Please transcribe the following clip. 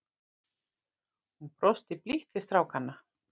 Hún brosti blítt til strákanna.